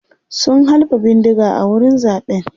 sun halba bindiga a wurin zaɓen